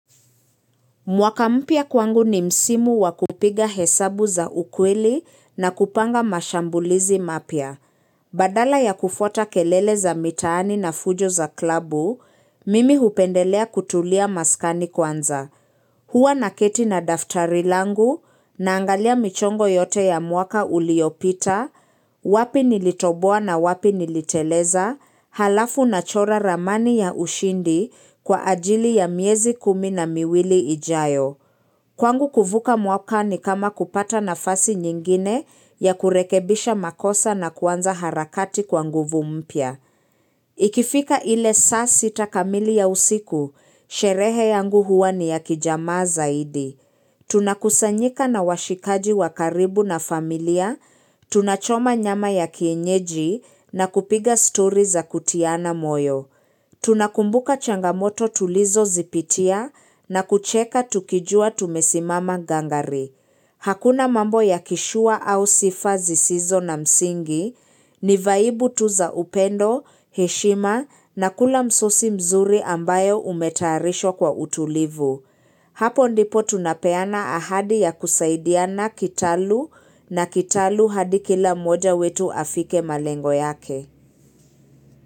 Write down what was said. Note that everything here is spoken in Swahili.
Mwaka mpya kwangu ni msimu wa kupiga hesabu za ukweli na kupanga mashambulizi mapya. Badala ya kufuata kelele za mitaani na fujo za klabu, mimi hupendelea kutulia maskani kwanza. Hua naketi na daftari langu, naangalia michongo yote ya mwaka uliopita, wapi nilitoboa na wapi niliteleza, halafu nachora ramani ya ushindi kwa ajili ya miezi kumi na miwili ijayo. Kwangu kuvuka mwaka ni kama kupata nafasi nyingine ya kurekebisha makosa na kuanza harakati kwa nguvu mpya. Ikifika ile saa sita kamili ya usiku, sherehe yangu huwa ni ya kijamaa zaidi. Tunakusanyika na washikaji wa karibu na familia, tunachoma nyama ya kienyeji na kupiga story za kutiana moyo. Tunakumbuka changamoto tulizo zipitia na kucheka tukijua tumesimama gangari. Hakuna mambo ya kishua au sifa zisizo na msingi, ni vaibu tu za upendo, heshima na kula msosi mzuri ambayo umetayarishwa kwa utulivu. Hapo ndipo tunapeana ahadi ya kusaidiana kitalu na kitalu hadi kila moja wetu afike malengo yake.